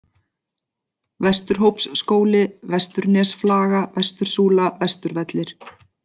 Vesturhópsskóli, Vesturnesflaga, Vestursúla, Vesturvellir